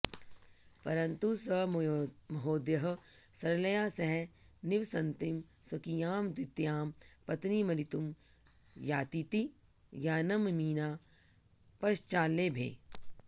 परन्तु स महोदयः सरलया सह निवसन्तीं स्वकीयां द्वितीयां पत्नी मलितुं यातीति ज्ञानममीना पश्चाल्लेभे